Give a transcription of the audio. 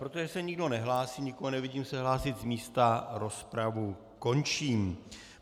Protože se nikdo nehlásí, nikoho nevidím se hlásit z místa, rozpravu končím.